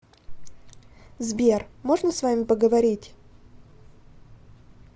сбер можно с вами поговорить